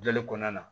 Joli kɔnɔna na